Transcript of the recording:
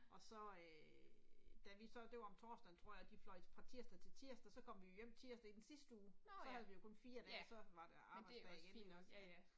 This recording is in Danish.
Og så øh da vi så det var om torsdagen tror jeg vi fløj fra tirsdag til tirsdag, så kom vi jo hjem tirsdag i den sidste uge så havde vi jo kun 4 dage så var det arbejdsdag igen, ja ja